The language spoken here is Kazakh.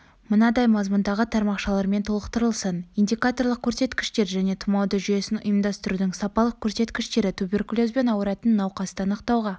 мынадай мазмұндағы тармақшалармен толықтырылсын индикаторлық көрсеткіштер және тұмауды жүйесін ұйымдастырудың сапалық көрсеткіштері туберкулезбен ауыратын науқасты анықтауға